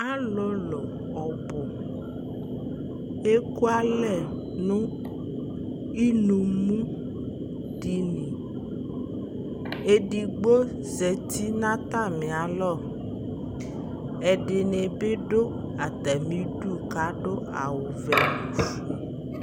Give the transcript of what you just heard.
alolo ɔbo eku alɛ no inumu dini edigbo zati no atami alɔ ɛdi ni bi do atami du ko ado awu ɔvɛ no ofue